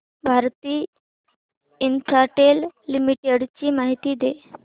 Bharti Infratel limited ची माहिती दे